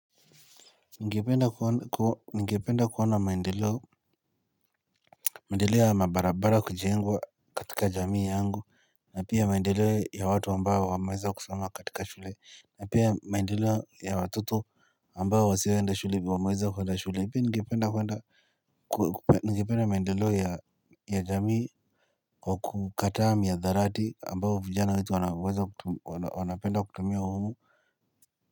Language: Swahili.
NNgependa kuona maendeleo maendeleo ya mabarabara kujengwa katika jamii yangu na pia maendeleo ya watu ambao wa maweza kusoma katika shule na pia maendeleo ya watoto ambao wa sioenda shule pia wa maweza kuwnda shule pai ningependa kuwenda Nigependa maendeleo ya jamii wa kukataa mihadarati ambayo vijana wetu wanapenda kutumia humu.